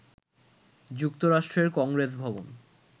যুক্তরাষ্ট্রের কংগ্রেস ভবন